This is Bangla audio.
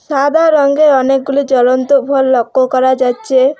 সাদা রঙের অনেকগুলি জ্বলন্ত ভল লক্ষ্য করা যাচ্ছে।